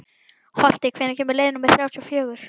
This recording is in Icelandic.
Holti, hvenær kemur leið númer þrjátíu og fjögur?